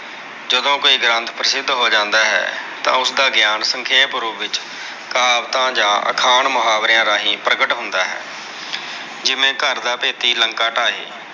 ਜਦੋਂ ਕੋਈ ਗ੍ਰੰਥ ਪ੍ਰਸਿੱਧ ਹੋ ਜਾਂਦਾ ਹੈ। ਤਾਂ ਉਸਦਾ ਗਿਆਨ ਸੰਖੇਪ ਰੂਪ ਵਿੱਚ ਕਹਾਵਤਾਂ ਜਾਂ ਅਖਾਣ ਮੁਹਾਵਰਿਆ ਰਾਹੀਂ ਪ੍ਰਗਟ ਹੁੰਦਾ ਹੈ। ਜਿਵੇ ਘਰ ਦਾ ਭੇਤੀ ਲੰਕਾ ਢਾਏ।